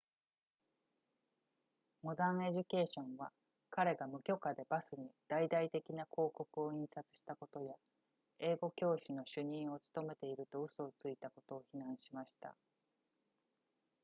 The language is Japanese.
modern education は彼が無許可でバスに大々的な広告を印刷したことや英語教師の主任を務めていると嘘をついたことを非難しました